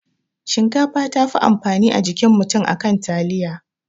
Shinkafa tafi amfani a jikin mutum akan taliya